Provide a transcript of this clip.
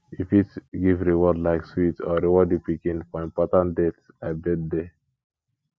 you fit give reward like sweet or reward di pikin for important dates like birthday